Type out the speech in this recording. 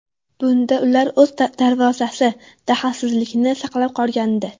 Bunda ular o‘z darvozasi dahlsizligini saqlab qolgandi.